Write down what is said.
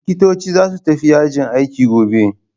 Likitoci za su tafi yajin aiki gobe.